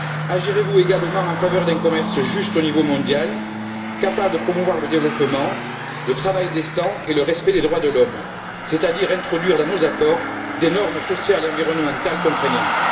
Agirez vous également en faveur d'un commerce juste au niveau mondial, capable de promouvoir le développement, le travail décent et le respect des droits de l'homme, c'est à dire pour introduire dans nos accords des normes sociales et environnementales contraignantes?